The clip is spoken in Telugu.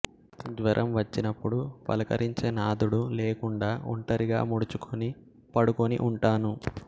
జ్వరం వచ్చినప్పుడు పలకరించే నాథుడు లేకుండా ఒంటరిగా ముడుచుకొని పడుకొని ఉంటాను